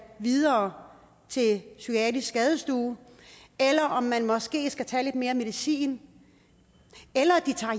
videre til psykiatrisk skadestue eller om man måske skal tage lidt mere medicin eller de tager